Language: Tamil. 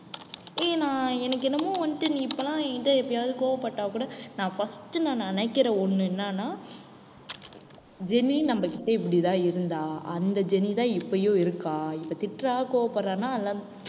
ஏய் நான் எனக்கென்னமோ வந்துட்டு நீ இப்பல்லாம் என்கிட்ட எப்பயாவது கோவப்பட்டா கூட நான் first நான் நினைக்கிற ஒண்ணு என்னன்னா ஜெனி நம்ம கிட்ட இப்படித்தான் இருந்தா அந்த ஜெனி தான் இப்பயும் இருக்கா இப்ப திட்றா கோவப்படறான்னா அதெல்லாம்